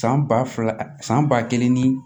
San ba fila san ba kelen ni